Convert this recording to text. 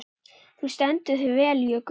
Þú stendur þig vel, Jökull!